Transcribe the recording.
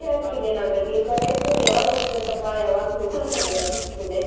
ಖುಷಿ ಆಗ್ತೀದೆ ನೋಡ್ರೀ, ನೀವ್ ಕರ್ಯಾಕು, ಯಾವಾಗ ಹೋಗಬೇಕಪ್ಪಾ? .